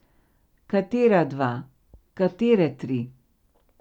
Katera dva, katere tri?